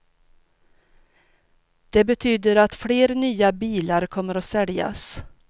Det betyder att fler nya bilar kommer att säljas.